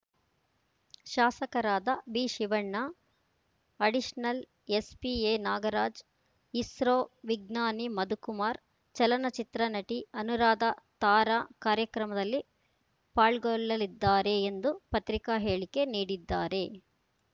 ಶಾಸಕರಾದ ಬಿಶಿವಣ್ಣ additional SP N Nagaraj ISRO ವಿಜ್ಞಾನಿ ಮಧುಕುಮಾರ್‌ ಚಲನ ಚಿತ್ರನಟಿ ಅನುರಾಧ ತಾರಾ ಕಾರ್ಯಕ್ರಮಮದಲ್ಲಿ ಪಾಲ್ಗೊಳ್ಳಲಿದ್ದಾರೆ ಎಂದು ಪತ್ರಿಕಾ ಹೇಳಿಕೆ ನೀಡಿದ್ದಾರೆ